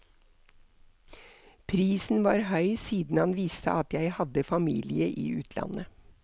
Prisen var høy siden han visste at jeg hadde familie i utlandet.